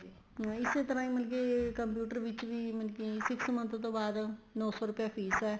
ਨਹੀਂ ਇਸੇ ਤਰ੍ਹਾਂ ਹੀ ਮਤਲਬ ਕੀ computer ਵਿੱਚ ਵੀ ਮਤਲਬ ਕੀ six month ਤੋ ਬਾਅਦ ਨੋ ਸੋ ਰੁਪਇਆ ਫੀਸ ਏ